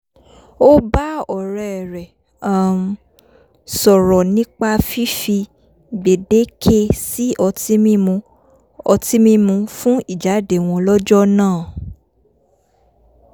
ó bá ọ̀rẹ́ rẹ̀ um sọ̀rọ̀ nipa fífi gbèdéke sí ọtí mímu ọtí mímu fún ìjáde wo̩n lọ́jọ́ náà